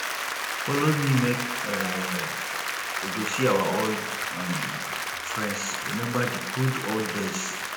folo me make um we go see our old um friends rememba di good old days